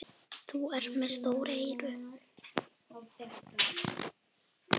Þú ert með stór eyru.